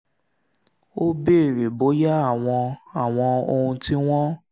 ó béèrè bóyá àwọn àwọn ohun tí wọ́n ń